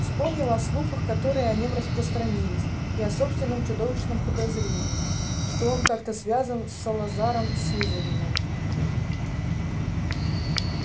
вспомнил о слухах которые о нем распространились и о собственном чудовищном подозрении что он как-то связан с салазаром слизерином